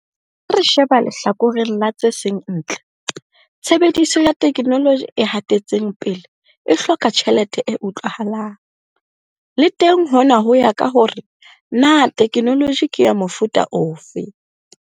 Ha re sheba lehlakoreng la tse seng ntle, tshebediso ya theknoloji e hatetseng pele e hloka tjhelete e utlwahalang. Le teng hona ho ya ka hore na theknoloji ke ya mofuta ofe.